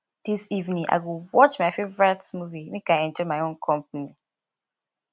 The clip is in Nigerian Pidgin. dis evening i go watch my favorite movie make i enjoy my own company